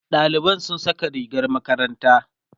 ɗaliban sun Saka rigar makaranta